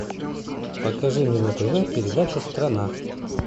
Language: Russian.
покажи мне на тв передачу страна